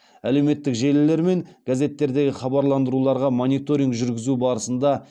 әлеуметтік желілер мен газеттердегі хабарландыруларға мониторинг жүргізу барысында